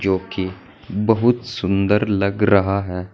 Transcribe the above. जो कि बहुत सुंदर लग रहा है।